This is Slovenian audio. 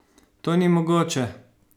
To ni mogoče!